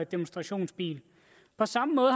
demonstrationsbil på samme måde